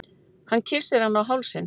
Hann kyssir hana á hálsinn.